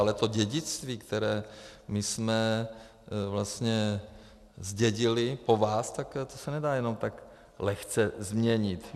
Ale to dědictví, které my jsme vlastně zdědili po vás, tak to se nedá jenom tak lehce změnit.